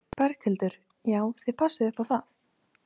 Berghildur: Já, þið passið upp á það?